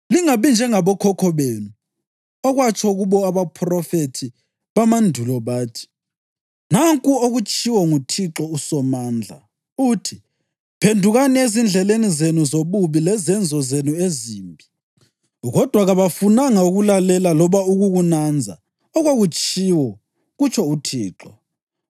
Lingabi njengabokhokho benu, okwatsho kubo abaphrofethi bamandulo, bathi: Nanku okutshiwo nguThixo uSomandla, uthi: ‘Phendukani ezindleleni zenu zobubi lezenzo zenu ezimbi.’ Kodwa kabafunanga ukulalela loba ukukunanza okwakutshiwo, kutsho uThixo.